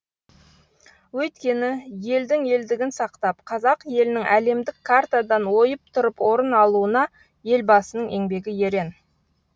өйткені елдің елдігін сақтап қазақ елінің әлемдік картадан ойып тұрып орын алуына елбасының еңбегі ерен